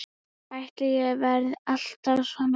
Ætli ég verði alltaf svona?